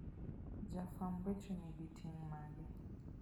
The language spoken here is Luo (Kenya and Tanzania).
Jafwamb weche nigi ting' mage?